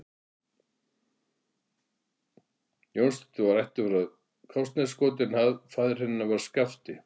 Jónsdóttir og var ættuð frá Káraneskoti en faðir hennar var Skafti